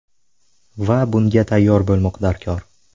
Va bunga tayyor bo‘lmoq darkor.